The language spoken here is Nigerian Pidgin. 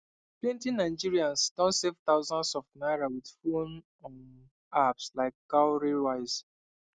plenty nigerians don save thousands of naira with phone um apps like cowrywise